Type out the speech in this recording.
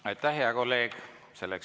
Aitäh, hea kolleeg!